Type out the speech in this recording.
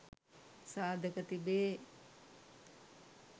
සාධක තිබේ.